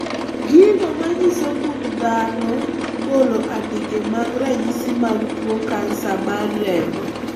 Gigo manyiso gund dhano golo andike mag ranyisi mag tuo kansa mar remo